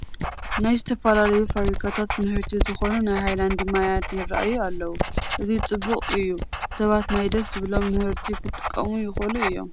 ናይ ዝተፈላለዩ ፋብሪካታት ምህርቲ ዝኾኑ ናይ ሃይላንድ ማያት ይርአዩ ኣለዉ፡፡ እዚ ፅቡቕ እዩ ሰባት ናይ ደስ ዝበሎም ምህርቲ ክጥቀሙ ይኽእሉ እዮም፡፡